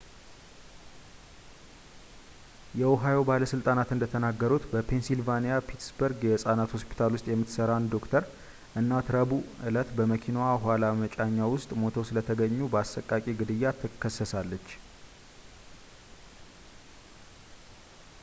የኦሃዮ ባለሥልጣናት እንደተናገሩት በፔንሲልቬንያ ፒትስበርግ የሕፃናት ሆስፒታል ውስጥ የምትሠራ አንድ ዶክተር እናቷ ረቡዕ ዕለት በመኪናዋ የኋላ መጫኛ ውስጥ ሙተው ስለተገኙ በአሰቃቂ ግድያ ትከሰሳለች